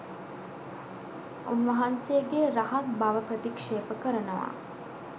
උන්වහන්සේගේ රහත් බව ප්‍රතික්ෂේප කරනවා